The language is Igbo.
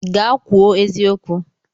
Gaa kwuo eziokwu!